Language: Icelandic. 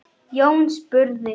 Jón spurði